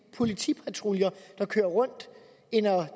politipatruljer der kører rundt end at